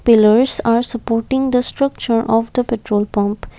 pillers are supporting the structure of the petrol pump.